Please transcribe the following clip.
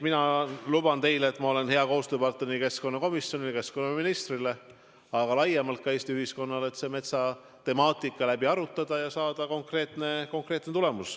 Ma luban teile, et olen hea koostööpartner nii keskkonnakomisjonile ja keskkonnaministrile, aga laiemalt ka Eesti ühiskonnale, et metsatemaatika läbi arutada ja saada konkreetne tulemus.